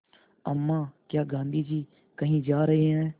अम्मा क्या गाँधी जी कहीं जा रहे हैं